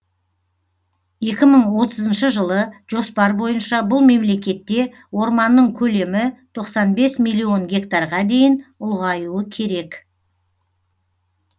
екі мың отызыншы жылы жоспар бойынша бұл мемлекетте орманның көлемі тоқсан бес миллион гектарға дейін ұлғаюы керек